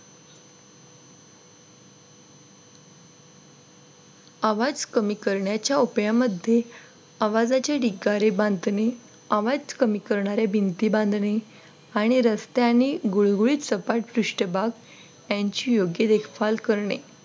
आवाज कमी करण्याच्या उपायांमध्ये आवाजाची डिकारी बांधणे आवाज कमी करणाऱ्या भिंती बांधणे आणि रस्त्याने गुळगुळीत सपाट पृष्ठभाग यांची योग्य देखभाल करणे